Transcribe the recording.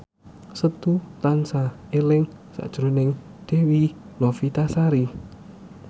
Setu tansah eling sakjroning Dewi Novitasari